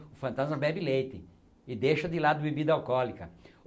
O fantasma bebe leite e deixa de lado bebida alcoólica.